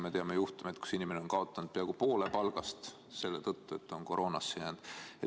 Me teame juhtumeid, kui inimene on kaotanud peaaegu poole palgast selle tõttu, et on koroonasse jäänud.